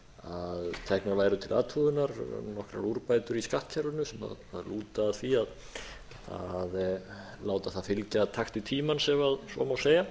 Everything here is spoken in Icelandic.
að teknar væru til athugunar nokkrar úrbætur í skattkerfinu sem lúta að því að láta það fylgja takti tímans ef svo má segja